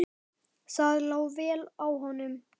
Það lá vel á honum.